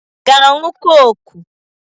Ị ga-aṅụ kọkụ?